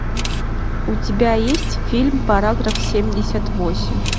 у тебя есть фильм параграф семьдесят восемь